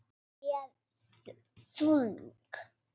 Hún er þung.